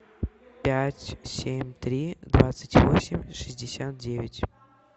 пять семь три двадцать восемь шестьдесят девять